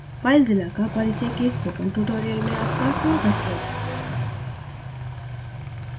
filezilla का परिचय के spoken tutorial में आपका स्वागत है